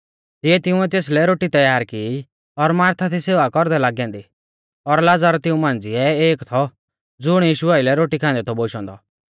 तिऐ तिंउऐ तेसलै रोटी तैयार की और मार्था थी सेवा कौरदै लागी ऐन्दी और लाज़र तिऊं मांझ़िऐ एक थौ ज़ुण यीशु आइलै रोटी खान्दै थौ बोशौ औन्दौ